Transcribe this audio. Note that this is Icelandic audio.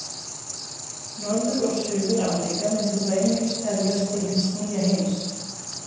Norður- og Suður-Ameríka myndu þá einungis teljast til hins nýja heims.